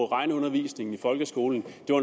regneundervisningen i folkeskolen